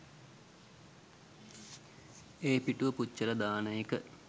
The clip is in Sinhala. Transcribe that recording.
ඒ පිටුව පුච්චලා දාන එක